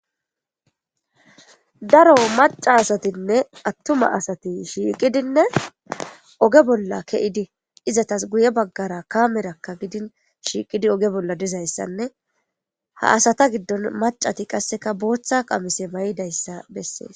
daro maca asatinne attuma asati shiiqidinne oge bolla ke7idi izatas guye baggara kamerakka gidin shiiqidi oge bolla dizayssanne ha asata giddon macati qasseka booththa qamise may7idayssa bessees